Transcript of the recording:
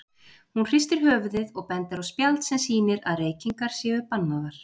Hún hristir höfuðið og bendir á spjald sem sýnir að reykingar séu bannaðar.